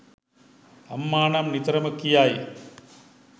අම්මා නම් නිතරම කියයි.